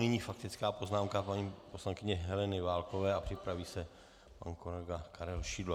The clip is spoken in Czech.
Nyní faktická poznámka paní poslankyně Heleny Válkové a připraví se pan kolega Karel Šidlo.